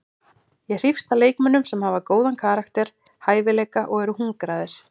Ég hrífst að leikmönnum sem hafa góðan karakter, hæfileika og eru hungraðir.